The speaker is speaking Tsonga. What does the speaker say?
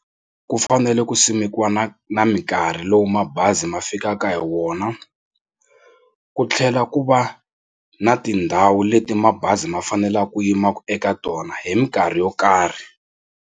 Ku fanele ku simekiwa na na mikarhi lowu mabazi ma fikaka hi wona ku tlhela ku va na tindhawu leti mabazi ma faneleke ku yima eka tona hi mikarhi yo karhi.